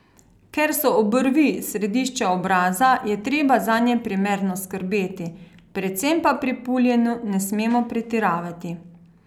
Ker so obrvi središče obraza, je treba zanje primerno skrbeti, predvsem pa pri puljenju ne smemo pretiravati.